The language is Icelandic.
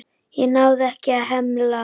Ég náði ekki að hemla.